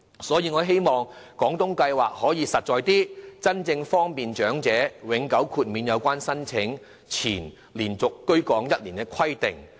所以，我希望廣東計劃可以實際一些，真正方便長者而永久豁免有關申請前連續居港1年的規定。